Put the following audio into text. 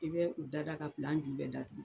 I bɛ u dada ka pilan ju bɛɛ datugu.